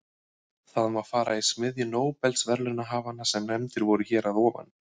Þar má fara í smiðju nóbelsverðlaunahafanna sem nefndir voru hér að ofan.